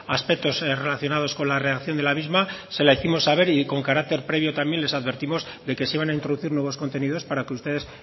aspectos relacionados con la reacción de la misma se la hicimos saber y con carácter previo también les advertimos de que se iban a introducir nuevos contenidos para que ustedes